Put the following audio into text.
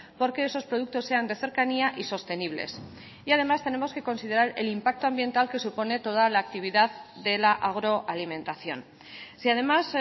porque esos productos sean de cercanía y sostenibles y además tenemos que considerar el impacto ambiental que supone toda la actividad de la agroalimentación si además